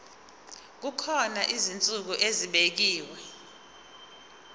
kukhona izinsuku ezibekiwe